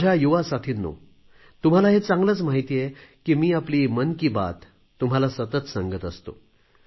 माझ्या युवा साथींनो तुम्हाला हे चांगलेच माहीत आहे की मी आपली मन की बात तुम्हाला सतत सांगत असतो